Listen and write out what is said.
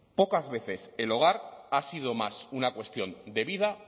pocas veces el hogar ha sido más una cuestión de vida